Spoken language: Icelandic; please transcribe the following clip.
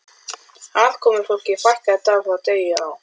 Aðkomufólki fækkaði dag frá degi á